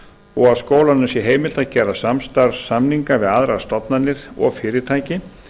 og að skólanum sé heimilt að gera samstarfssamninga við aðrar stofnanir og fyrirtæki